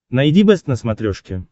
найди бэст на смотрешке